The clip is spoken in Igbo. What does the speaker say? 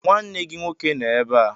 Nwanne gị nwoke nọ ebe a.